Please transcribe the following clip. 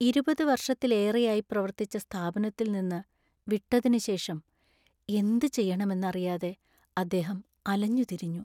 ഇരുപത് വർഷത്തിലേറെയായി പ്രവർത്തിച്ച സ്ഥാപനത്തിൽ നിന്ന് വിട്ടതിനുശേഷം എന്ത് ചെയ്യണമെന്നറിയാതെ അദ്ദേഹം അലഞ്ഞുതിരിഞ്ഞു .